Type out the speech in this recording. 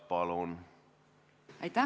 Palun!